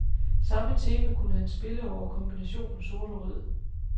Samme tema kunne han spille over kombinationen sort og rød.